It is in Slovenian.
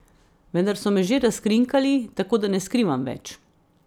Vendar so me že razkrinkali, tako da ne skrivam več.